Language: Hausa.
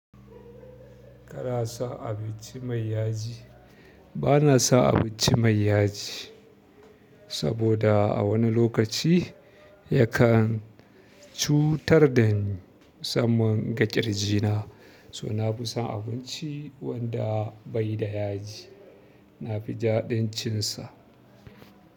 Kana san abinci mai yaji? Ba na san abinci mai yaji saboda a wani lokaci yakan cutar da ni musamman ga ƙirji na. So na fi son abinci wanda bai da yaji. Na fi jaɗin cin sa.